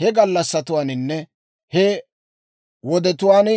he gallassatwaaninne he wodetuwaan